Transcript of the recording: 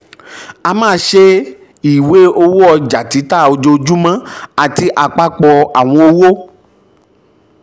a máa ṣe ìwé owó ọjà títà ojoojúmọ́ àti apapọ àwọn owó.